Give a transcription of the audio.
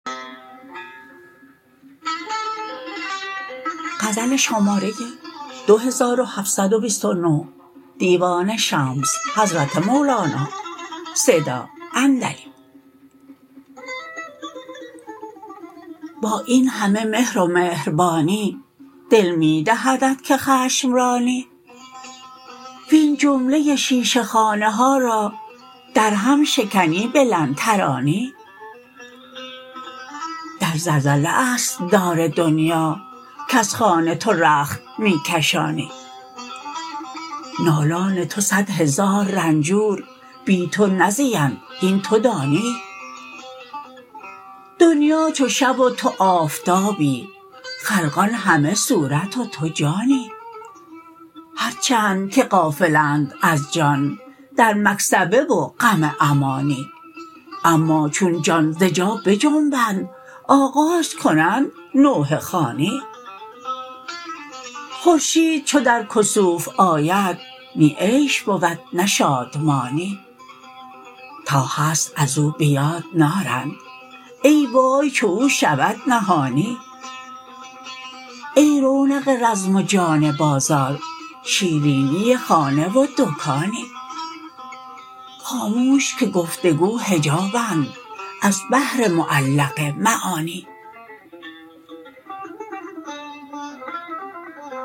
با این همه مهر و مهربانی دل می دهدت که خشم رانی وین جمله شیشه خانه ها را درهم شکنی به لن ترانی در زلزله است دار دنیا کز خانه تو رخت می کشانی نالان تو صد هزار رنجور بی تو نزیند هین تو دانی دنیا چو شب و تو آفتابی خلقان همه صورت و تو جانی هر چند که غافلند از جان در مکسبه و غم امانی اما چون جان ز جا بجنبد آغاز کنند نوحه خوانی خورشید چو در کسوف آید نی عیش بود نه شادمانی تا هست از او به یاد نارند ای وای چو او شود نهانی ای رونق رزم و جان بازار شیرینی خانه و دکانی خاموش که گفت و گو حجابند از بحر معلق معانی